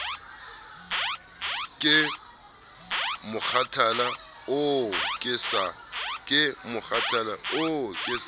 ke mokgathala oo ke sa